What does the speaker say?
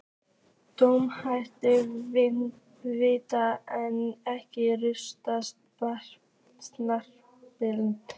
Dómarinn dæmdi víti en ekkert rautt spjald?